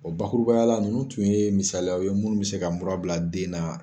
O bakurubayala nunnu tun ye misaliyaw ye munnu bɛ se ka mura bila den na.